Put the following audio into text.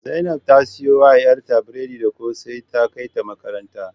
Zainab ta siyo wa yarta biredi da kose ta kaita makaranta